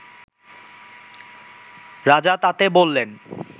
রাজা তাতে বললেন